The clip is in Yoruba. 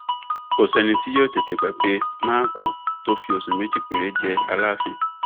kò sẹni tí yóò tètè gbàgbé mákúù tó fi oṣù méjì péré jẹ aláàfin